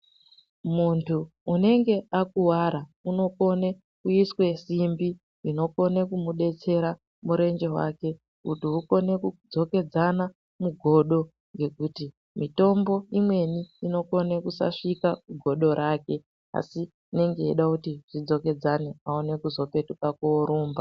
Muntu unenge akuvara uno kone kuiswe simbi ino inokone ku mubetsera murenje wake kuti ukone ku dzokesana mugodo ngekuti mitombo imweni inogona kusa svika mugodo rake asi inenge yeida kuti zvi dzokedzane aone kuzo petuka korumba.